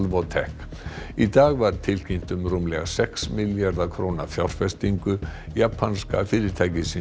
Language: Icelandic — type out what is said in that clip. Alvotech í dag var tilkynnt um rúmlega sex milljarða króna fjárfestingu japanska fyrirtækisins